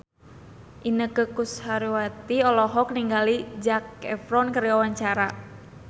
Inneke Koesherawati olohok ningali Zac Efron keur diwawancara